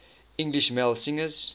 english male singers